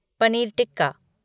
paneer tikka